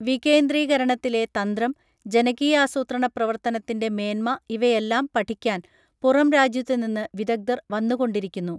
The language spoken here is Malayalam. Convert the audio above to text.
വികേന്ദ്രീകരണത്തിലെ തന്ത്രം ജനകീയാസൂത്രണപ്രവർത്തനത്തിന്റെ മേന്മ ഇവയെല്ലാം പഠിക്കാൻ പുറം രാജ്യത്തുനിന്ന് വിദഗ്ധർ വന്നുകൊണ്ടിരിക്കുന്നു